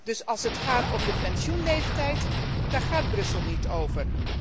Dus als het gaat om de pensioenleeftijd, daar gaat Brussel niet over.